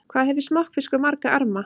Hvað hefur smokkfiskur marga arma?